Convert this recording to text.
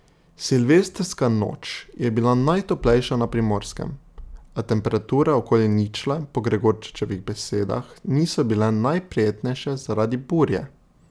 Silvestrska noč je bila najtoplejša na Primorskem, a temperature okoli ničle po Gregorčičevih besedah niso bile najprijetnejše zaradi burje.